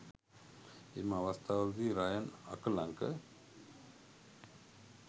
එම අවස්ථාවලදී රයන් අකලංක